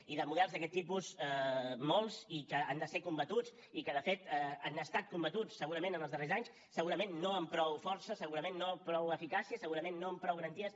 i de models d’aquest tipus molts i que han de ser combatuts i que de fet han estat combatuts segurament els darrers anys segurament no amb prou força segurament no amb prou eficàcia segurament no amb prou garanties